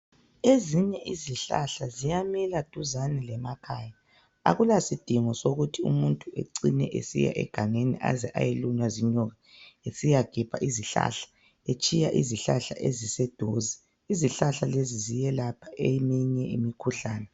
Ezinye izihlahla siyamila duzane ngekhaya. Akula sidingo sokuthi umuntu ecine esiya egangeni eze ayelunywa ,inyoka esiya gebha izihlahla etshiya izihlahla eziseduze. Izihlahla lezi ziyalapha iminye imikhuhlane.